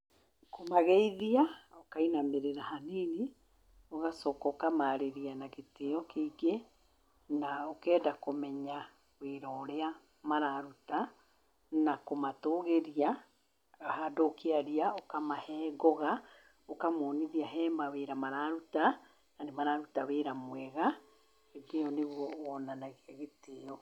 Kũmageithia, ũkainamĩrĩra hanini, ũgacoka ũkamaarĩria na gĩtĩo kĩingĩ. Na ũkenda kũmenya wĩra ũrĩa mararuta, na kũmatũgĩria. Handũ ũkĩaria ũkamahe ngoga, ũkamonithia he mawĩra mararuta na nĩ mararuta wĩra mwega. Gĩtĩo, nĩguo wonanagia gĩtĩo.